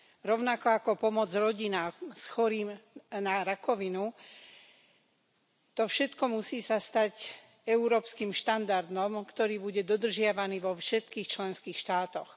rovnako ako pomoc rodinám s chorým na rakovinu to všetko sa musí stať európskym štandardom, ktorý bude dodržiavaný vo všetkých členských štátoch.